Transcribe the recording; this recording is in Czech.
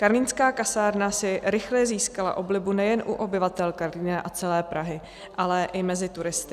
Karlínská kasárna si rychle získala oblibu nejen u obyvatel Karlína a celé Prahy, ale i mezi turisty.